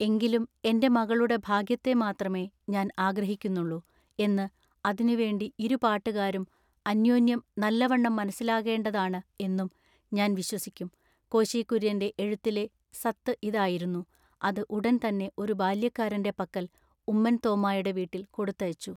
എങ്കിലും എന്റെ മകളുടെ ഭാഗ്യത്തെ മാത്രമെ ഞാൻ ആഗ്രഹിക്കുന്നുള്ളു എന്നു അതിനു വേണ്ടി ഇരുപാട്ടുകാരും അന്ന്യോന്ന്യം നല്ലവണ്ണം മനസ്സിലാകേണ്ടതാണു എന്നും ഞാൻ വിശ്വസിക്കും കോശി കുര്യന്റെ എഴുത്തിലെ സത്തു ഇതായിരുന്നു അതു ഉടൻ തന്നെ ഒരു ബാല്യക്കാരന്റെ പക്കൽ ഉമ്മൻ തോമ്മായുടെ വീട്ടിൽ കൊടുത്തയച്ചു.